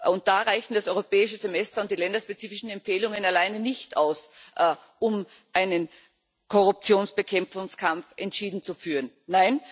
Und da reichen das Europäische Semester und die länderspezifischen Empfehlungen alleine nicht aus, um die Korruptionsbekämpfung entschieden zu betreiben.